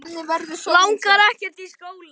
Langar ekkert í skóla.